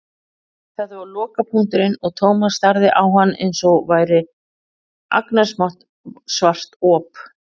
Þetta var lokapunkturinn og Thomas starði á hann einsog hann væri agnarsmátt svart op.